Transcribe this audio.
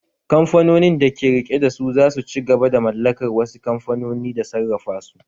Kamfanonin da ke rike da su za su ci gaba da mallakar wasu kamfanoni da sarrafa su